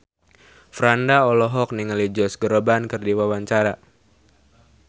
Franda olohok ningali Josh Groban keur diwawancara